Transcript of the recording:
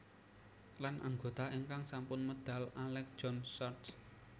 Lan anggota ingkang sampun medal Alec John Such